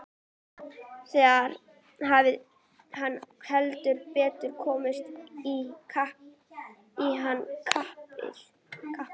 Þar hafði hann heldur betur komist í hann krappan.